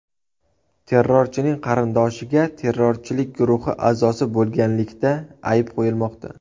Terrorchining qarindoshiga terrorchilik guruhi a’zosi bo‘lganlikda ayb qo‘yilmoqda.